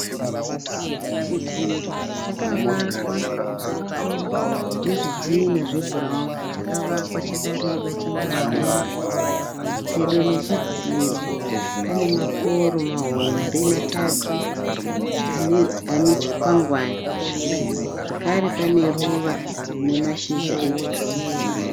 Chidziro chakavakwa nezvidhina zvebhurauni chakavakwa chakareba chichienda mudenga. Pedo nechidziro mane maporo mahombe matatu ane chikwangwani, zvekare pane ruvara rine mashizha egirini.